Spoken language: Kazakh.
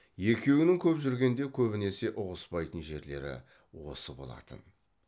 екеуінің көп жүргенде көбінесе ұғыспайтын жерлері осы болатын